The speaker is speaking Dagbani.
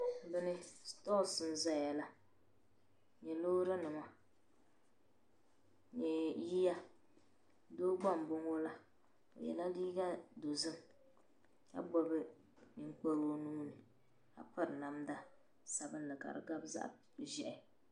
Bihi. sipose. nzayala ni loorinima ni yiya bihi gba. nboŋɔ la. ka niriba za dizuɣu.ka gbubi anfooni ma ka piri namda. ka di gabi zaɣi zehi.